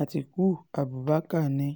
àtikukú abubakar ni